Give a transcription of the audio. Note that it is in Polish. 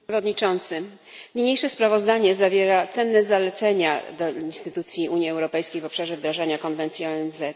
Panie Przewodniczący! Niniejsze sprawozdanie zawiera cenne zalecenia dla instytucji Unii Europejskiej w obszarze wdrażania konwencji ONZ.